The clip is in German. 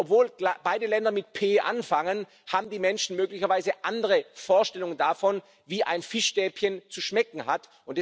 Und obwohl klar beide Länder mit P angefangen, haben die Menschen möglicherweise andere Vorstellungen davon, wie ein Fischstäbchen zu schmecken hat.